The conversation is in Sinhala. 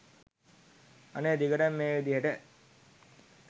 අනේ දිගටම මේ විදියට